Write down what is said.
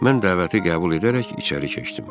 Mən dəvəti qəbul edərək içəri keçdim.